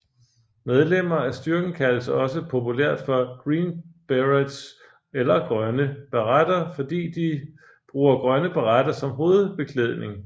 Medlemmer af styrken kaldes også populært for Green Berets eller Grønne Baretter fordi de bruger grønne baretter som hovedbeklædning